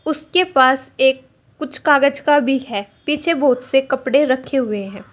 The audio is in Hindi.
उसके पास एक कुछ कागज का भी है पीछे बहुत से कपड़े रखे हुए हैं।